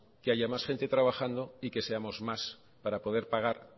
que haya más gente trabajando y que seamos más para poder pagar